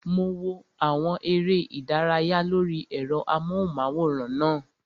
Mo wo àwọn eré ìdárayá lórí ẹ̀rọ amóhùnmáwòrán náà